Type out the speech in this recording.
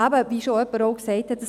Und wie jemand schon gesagt hat: